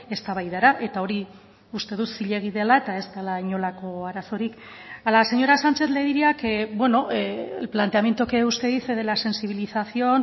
eztabaidara eta hori uste dut zilegi dela eta ez dela inolako arazorik a la señora sánchez le diría que el planteamiento que usted dice de la sensibilización